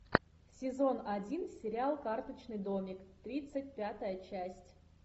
сезон один сериал карточный домик тридцать пятая часть